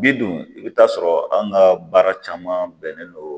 Bi dun i bɛ taa sɔrɔ an ka baara caman bɛnnen don